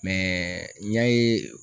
n y'a ye